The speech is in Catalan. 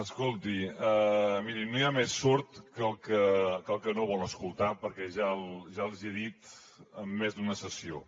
escolti miri no hi ha més sord que el que no vol escoltar perquè ja els hi he dit en més d’una sessió